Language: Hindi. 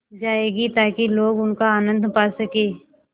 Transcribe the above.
जाएगी ताकि लोग उनका आनन्द पा सकें